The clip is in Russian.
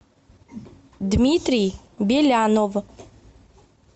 дмитрий белянов